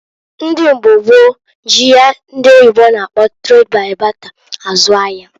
Ndị mgba gboo ji ihe ndi oyibo na-akpọ trade by barter azụ ahia.